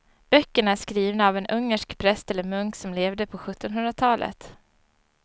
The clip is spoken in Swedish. Böckerna är skrivna av en ungersk präst eller munk som levde på sjuttonhundratalet.